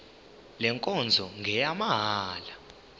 le nkonzo ngeyamahala